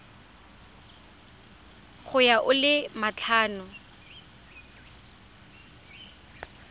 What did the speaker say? ya go a le matlhano